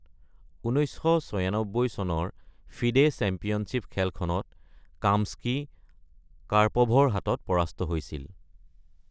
১৯৯৬ চনৰ FIDE championship খেলখনত Kamsky কাৰ্পভৰ হাতত পৰাস্ত হৈছিল।